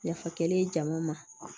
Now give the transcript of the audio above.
Yafa kɛlen jama ma